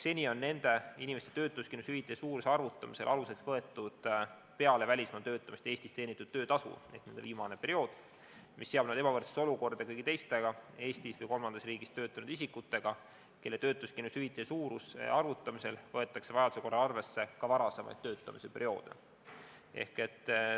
Seni on nende inimeste töötuskindlustushüvitise suuruse arvutamisel aluseks võetud peale välismaal töötamist Eestis teenitud töötasu ehk nende viimane periood, mis seab nad ebavõrdsesse olukorda kõigi teistega Eestis või kolmandas riigis töötanud isikutega, kelle töötuskindlustushüvitise suuruse arvutamisel võetakse vajaduse korral arvesse ka varasemaid töötamise perioode.